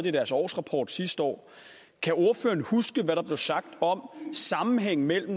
i deres årsrapport sidste år kan ordføreren huske hvad der blev sagt om sammenhængen mellem